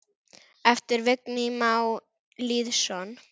eftir Vigni Má Lýðsson